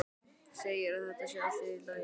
Segir að þetta sé allt í lagi.